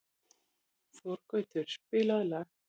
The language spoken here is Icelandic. Þorgautur, spilaðu lag.